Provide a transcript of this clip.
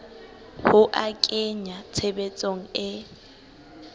ho a kenya tshebetsong e